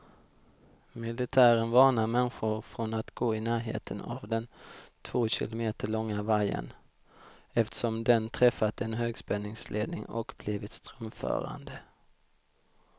Militären varnar människor från att gå i närheten av den två kilometer långa vajern, eftersom den träffat en högspänningsledning och blivit strömförande.